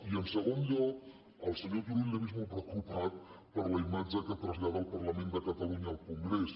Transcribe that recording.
i en segon lloc al senyor turull l’he vist molt preocupat per la imatge que trasllada el parlament de catalunya al congrés